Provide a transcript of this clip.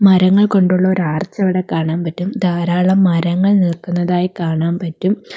മരങ്ങൾ കൊണ്ടുള്ള ഒരാർച്ച് അവിടെ കാണാൻ പറ്റും ധാരാളം മരങ്ങൾ നിൽക്കുന്നതായി കാണാൻ പറ്റും.